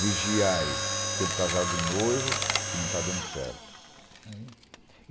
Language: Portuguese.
Vigiai tem um casal de noivo que não está dando certo. Uhum